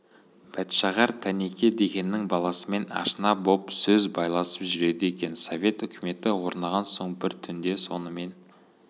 бәтшағар тәнеке дегеннің баласымен ашына боп сөз байласып жүреді екен совет үкіметі орнаған соң бір түнде сонымен